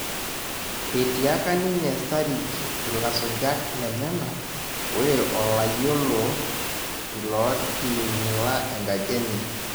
Etiaka ninye Starij ilasujak lenyenak ore olayiolo ilooting'ila enkaji enye